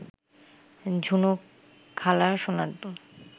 ঝুনুখালার সোনার দুল